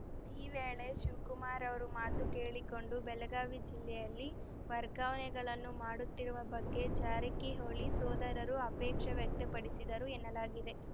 ಈ ವೇಳೆ ಶಿವ್ ಕುಮಾರ್‌ ಅವರ ಮಾತು ಕೇಳಿಕೊಂಡು ಬೆಳಗಾವಿ ಜಿಲ್ಲೆಯಲ್ಲಿ ವರ್ಗಾವಣೆಗಳನ್ನು ಮಾಡುತ್ತಿರುವ ಬಗ್ಗೆ ಜಾರಕಿಹೊಳಿ ಸೋದರರು ಆಪೇಕ್ಷೇ ವ್ಯಕ್ತಪಡಿಸಿದರು ಎನ್ನಲಾಗಿದೆ